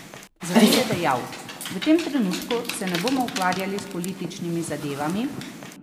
Zato je dejal: "V tem trenutku se ne bomo ukvarjali s političnimi zadevami.